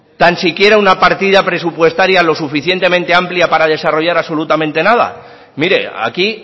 tan siquiera una partida presupuestaria lo suficientemente amplia para desarrollar absolutamente nada mire aquí